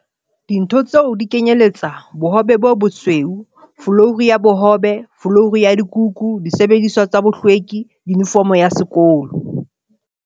Dintho tseo di kenyelletsa- l Bohobe bo bosweu l Folouru ya bohobel Folouru ya dikukusil Disebediswa tsa bohlwekil Yunifomo ya sekolol